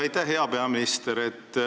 Aitäh, hea peaminister!